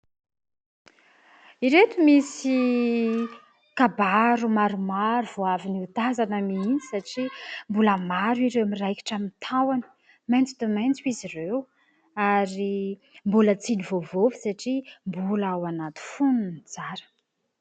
ireto misy kabaro maromaro vo avy ny ho tazana mihintsy satria mbola maro ireo miraikitra my tahony mainto to mainto izy ireo ary mbola tsidy voavoavy satria mbola ao anaty fony ny tsara